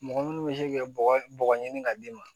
Mɔgɔ minnu bɛ se k'i ka bɔgɔ bɔgɔ ɲini ka d'i ma